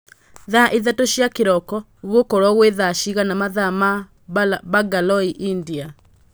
thaa ithatū cia kīroko gūgūkorwo gwī thaa cigana mathaa ma bangalore india